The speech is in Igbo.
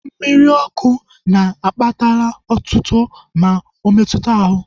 Mmiri ọkụ na akpatala otuto ma ometuta ahụ